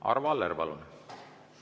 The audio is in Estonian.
Arvo Aller, palun!